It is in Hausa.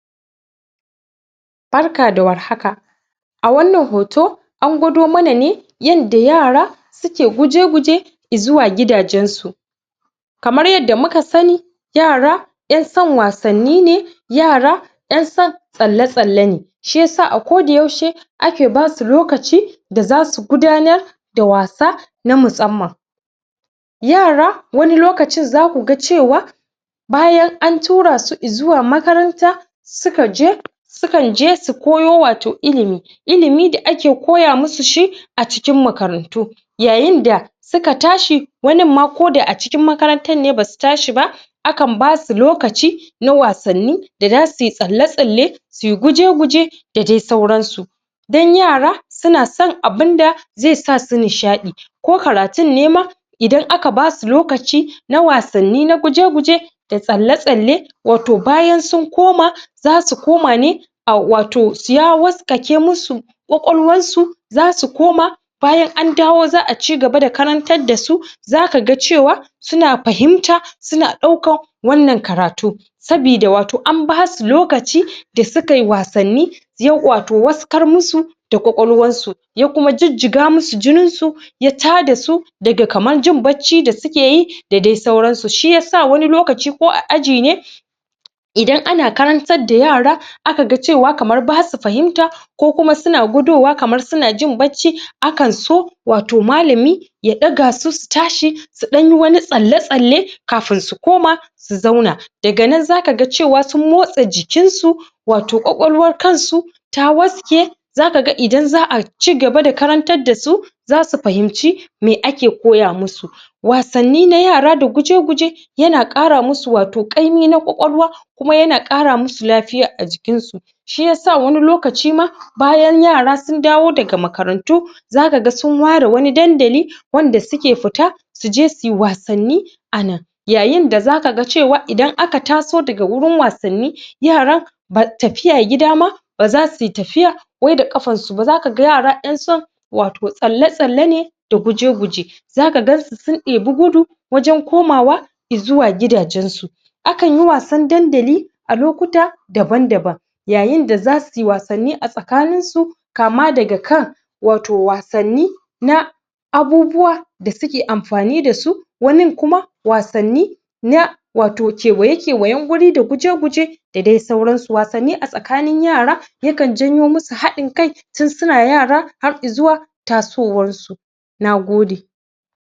Barka da warhaka a wannan hoto an gwado mana ne yadda yara suke guje-guje izuwa gidagen su kamar yadda muka sani yara 'yan san wasanni ne yara 'yan san tsalle-tsalla ne shiyasa a koda yaushe ake basu lokaci da zasu gudanar da wasa na musamman yara wani lokacin zaku ga cewa bayan a tura su izuwa makaranta suka je sukan je su koyo wato ilimi ilimi da ake koya musu shi a cikin makarantu yayin da suka tashi wani ma koda a cikin makarantar ne basu tashi ba akan basu lokaci na wasanni da zausu tsalle-tsalle suyi guje-guje da dai sauransu dan yara suna son abinda zai sa su nishaɗi ko karatun ne ma idan aka basu lokaci na wasanni na guje-guje da tsalle-tsalle wato bayan sun koma zasu koma ne au wato ya waskake musu kwakwalwar su zasu koma bayan an dawo za'a cigaba da karantar dasu zaka ga cewa suna fahimta suna ɗaukan wannan karatu sabida wato an basu lokaci da sukai wasanni yayi wato waskar musu da kwakwalwar su ya kuma jijjiga musu jinin su ya tada su daga kamar jin barci da suke yi da dai sauransu, shiyasa wani lokaci ko aji ne idan ana karantar da yara aga cewa kamar masu fahimta ko kuma suna gudowa kamar suna jin barci akan so wato malami ya ɗaga su, su tashi su ɗan yi wani tsalle-tsalle kafin su koma su zauna daga nana zaka ga cewa sun motsa jikin su wato kwakwalwar kan su ta waske zaka ga idan za'a cigaba da karantar dasu zasu fahimci me ake koya musu wasanni na yara da guje-guje yana ƙara musu wato ƙaimi na kwakwalwa kuma yana ƙara musu lafiya a cikin su shiyasa wani lokaci ma, bayan yara sun dawo daga makarantu zaka ga sun ware wani dandali wanda suke fita suje suyi wasanni a nan yayin da zaka ga cewa idan aka taso daga waurin wasanni, yara ba tafiya gida ma ba zasuyi tafiya wai da ƙafar su, zaka ga yara 'yan son wato tsalle-tsalle ne da guje-guje zaka gansu sun ɗebi gudu wajan komawa izuwa gidajen su akan yi wasan dandali a lokuta daban daban yayin da zasuyi wasanni a tsakanin su kama daga kan wato wasanni na abubuwa da suke amfani dasu wani kuma wasanni na kewaye-kewayen wuri da guje-guje da dai sauransu. Wasanni a tsakanin yara yakan janyo musu haɗin kai, tun sina yara har izuwa tasowar su. Nagode.